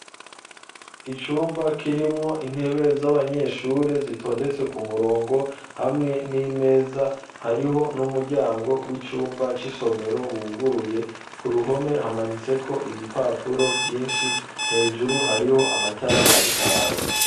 Icumba kirimwo intebe z'abanyeshure zitondetse ku murongo hamwe n'imeza hariho n'umuryango w'icumba c'isomero wuguruye ku ruhome hamanitse ko ibipapuro vyinshi hejuru hariho amatara ariko araka.